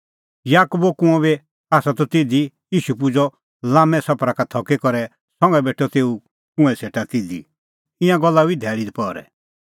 याकूबो कुंअ बी आसा त तिधी ईशू पुजअ लाम्मै सफरा का थकी करै संघा बेठअ तेऊ कुंऐं सेटा तिधी ईंयां गल्ला हुई धैल़ी दपहरै